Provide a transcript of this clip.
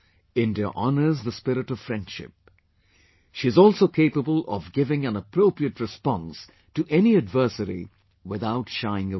India honours the spirit of friendship...she is also capable of giving an appropriate response to any adversary, without shying away